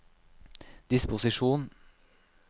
disposisjon